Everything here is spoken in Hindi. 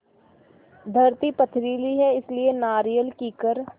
धरती पथरीली है इसलिए नारियल कीकर